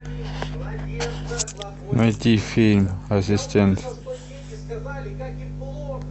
найти фильм ассистент